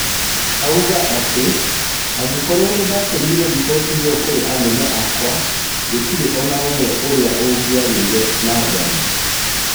Auga atĩ, angĩkorwo nĩndatũmire riboti ĩo kũrĩ anene akwa, gũtirĩ onaũmwe ũrĩa ũngĩagĩire na nganja.